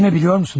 Düşünə bilirsiniz?